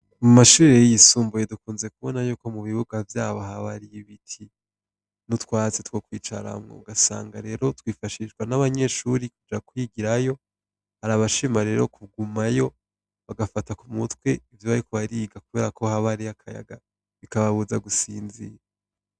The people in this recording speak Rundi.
Mu mashure yisumbuye dukunze kubona yuko mubibuga vyaho haba hari ibiti nutwatsi twokwicaraho ugasanga lero twofashishwa nabanyeshure bakigirayo bagashima kugumayo bagafata kumutwe kubera ko haba hariyo akayaga kababuza gusinzira.